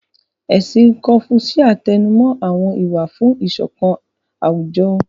Ẹ̀sìn kọ́fúṣíà tẹnumó àwọn ìwà fún ìṣọ̀kan àwùjọ